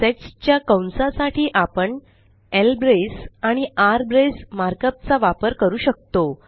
sets च्या कंसा साठी आपण ल्ब्रेस आणि आरब्रेस मार्कअप चा वापर करू शकतो